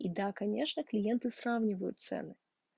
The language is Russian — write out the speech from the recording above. и да конечно клиенты сравнивают цены